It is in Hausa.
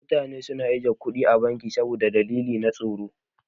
Mutane na ajiye kuɗi a banki saboda dalilai na tsaro.